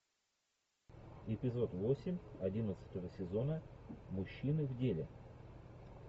эпизод восемь одиннадцатого сезона мужчины в деле